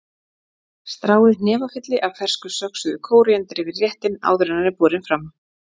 Stráið hnefafylli af fersku söxuðu kóríander yfir réttinn áður en hann er borinn fram.